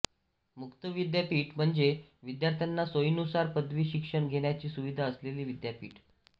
मुक्त विद्यापीठ म्हणजे विद्यार्थ्यांना सोईनुसार पदवी शिक्षण घेण्याची सुविधा असलेले विद्यापीठ